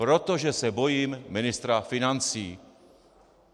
Protože se bojím ministra financí.